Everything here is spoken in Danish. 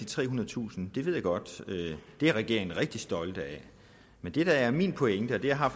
trehundredetusind det ved jeg godt at regeringen er rigtig stolt af men det der er min pointe og det har